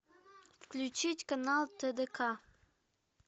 включить канал тдк